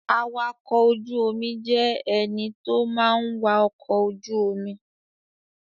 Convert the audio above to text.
Awakọ̀ ojú omi jẹ́ ẹní tó má ń wa ọkọ̀ ojú omi